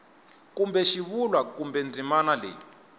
kuma xivulwa kumbe ndzimana leyi